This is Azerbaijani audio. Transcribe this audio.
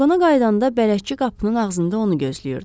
Vaqona qayıdanda bələdçi qapının ağzında onu gözləyirdi.